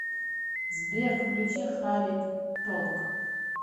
сбер включи халид толк